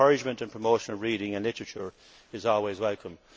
and the encouragement and promotion of reading and literature is always welcome.